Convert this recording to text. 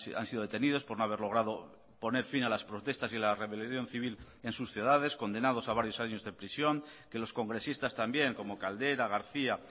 han sido detenidos por no haber logrado poner fin a las protestas y la rebelión civil en sus ciudades condenados a varios años de prisión que los congresistas también como caldera garcía